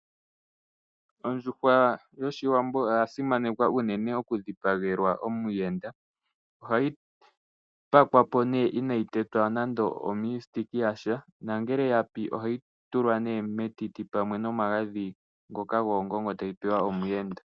Ondjuhwa yoshiwambo oya simanekwa unene oku dhipagelwa omuyenda. Ohayi pakwa po nee inayi tetwa nande omiisitiki yasha nangele ya pi ohayi tulwa nee metiti pamwe nomagadhi ngoka goongongo tayi pewa omuyenda.